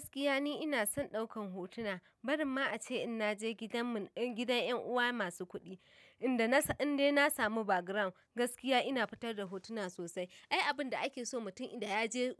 Gaskiya ni ina son ɗaukan hotuna, bari ma ace in naje gidan mun, gidan yan uwa masu kuɗi, inda na sa, inda na samu background, gaskiya ina fitar da hotuna sosai. Ai abun da ake so mutum idan ya je,